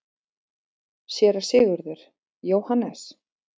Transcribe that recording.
SÉRA SIGURÐUR: Jóhannes?